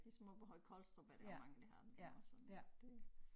Ligesom oppe i Høje Kolstrup er der også mange der har den det også sådan lidt øh